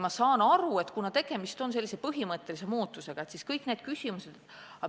Ma saan aru, et kuna tegemist on põhimõttelise muudatusega, siis on tekkinud kõik need küsimused.